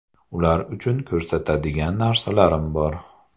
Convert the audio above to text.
Ular uchun ko‘rsatadigan narsalarim bor.